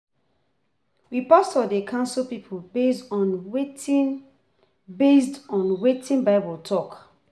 We pastor dey counsel pipo based on wetin based on wetin Bible tok.